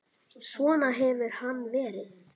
Svona hefur hann verið.